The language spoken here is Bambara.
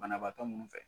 Banabaatɔ minnu fɛ